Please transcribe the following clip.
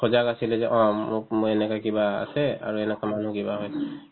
সজাগ আছিলে যে অ মোক মই এনেকা কিবা আছে আৰু এনেকা মানুহ কিবা